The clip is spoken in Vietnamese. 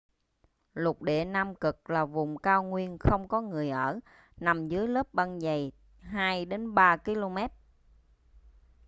lục địa nam cực là vùng cao nguyên không có người ở nằm dưới lớp băng dày 2 - 3 km